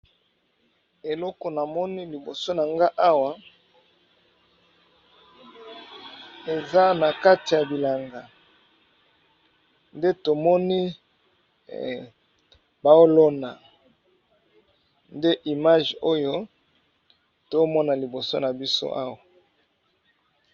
eloko na moni liboso na nga awa eza na kati ya bilanga nde tomoni baolona nde image oyo tomona liboso na biso awa